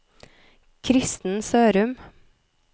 Kristen Sørum